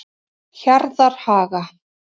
Hjarðarhaga